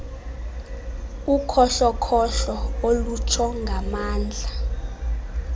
ukhohlokhohlo olutsho ngamandla